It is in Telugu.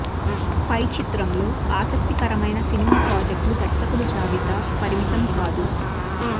పై చిత్రంలో ఆసక్తికరమైన సినిమా ప్రాజెక్టులు దర్శకుడు జాబితా పరిమితం కాదు